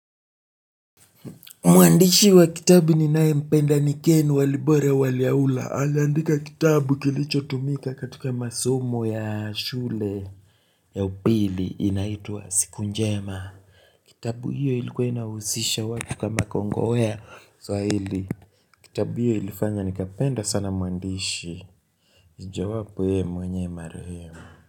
Mwandishi wa kitabu ninayempenda ni Ken Walibora Waliaula. Aliandika kitabu kilichotumika katika masomo ya shule. Ya upili inaitwa siku njema. Kitabu hiyo ilikuwa inawahusisha watu kama kongowea swahili. Kitabu hiyo ilifanya nikapenda sana mwandishi. Mojawapo yeye mwenyewe mara hiyo.